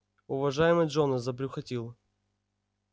уважаемый джонас забрюхатил